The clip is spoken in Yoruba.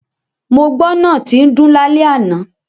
Mo gbọ́ náà tín dún lálẹ́ àná.